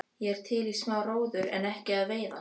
Ég er til í smá róður en ekki að veiða.